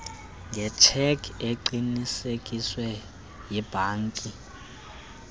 ngetshekhi eqinisekiswe yibhanki